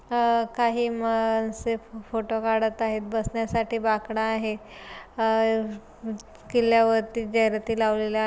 अ काही माणसे फ फोटो काडत आहेत बसण्यासाठी बाकड आहे अ किल्ल्यावरती झायराती लावलेल्या--